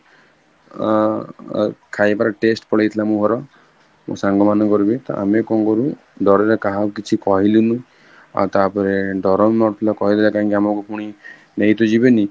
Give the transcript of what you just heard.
ଅ ଅ ଖାଇବାର taste ପଳେଇଥିଲା ମୂହର ମୋ ସାଙ୍ଗ ମାନଙ୍କର ବି ତ ଆମେ କଣ କରୁ ଡ଼ରରେ କାହାକୁ କିଛିକହିଲୁନୁ ଆଉ ଟାପରେ ଡ଼ର କହିଦେଲେ ଆମକୁ ପୁଣି ନେଇତ ଜୀବେନି?